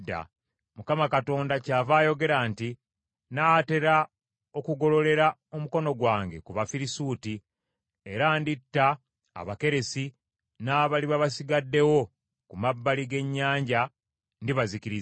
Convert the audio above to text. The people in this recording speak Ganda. Mukama Katonda kyava ayogera nti, Nnaatera okugololera omukono gwange ku Bafirisuuti, era nditta Abakeresi, n’abaliba basigaddewo ku mabbali g’ennyanja ndibazikiriza.